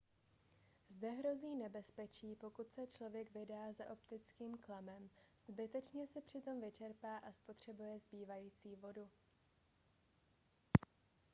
zde hrozí nebezpečí pokud se člověk vydá za optickým klamem zbytečně se přitom vyčerpá a spotřebuje zbývající vodu